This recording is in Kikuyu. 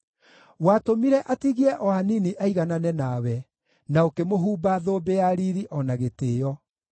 Watũmire atigie o hanini aiganane nawe, na ũkĩmũhumba thũmbĩ ya riiri o na gĩtĩĩo.